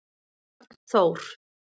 Bjarnþór